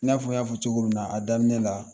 I n'a fɔ i y'a fɔ cogo min na a daminɛ la